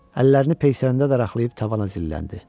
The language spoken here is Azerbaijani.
Əllərini peysərinə daraqlayıb tavana zilləndi.